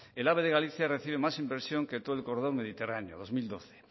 el ave de galicia recibe más inversión que todo el corredor mediterráneo dos mil doce